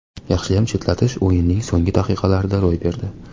Yaxshiyam chetlatish o‘yinning so‘nggi daqiqalarida ro‘y berdi.